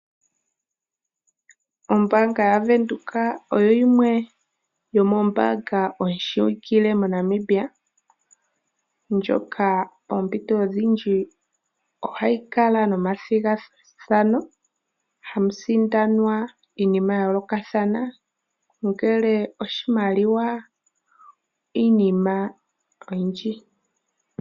Ombaanga ya Windhoek oyo yimwe yomoombanga ooshiwikile moNamibia, ndjoka poompito odhindji oha yi kala nomathigathano ha mu sindanwa iinima ya yoolokathana, ongele oshimaliwa iinima oyindji.